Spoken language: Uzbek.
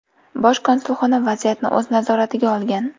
Bosh konsulxona vaziyatni o‘z nazoratiga olgan.